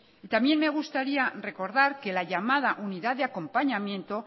ytambién me gustaría recordar que la llamada unidad de acompañamiento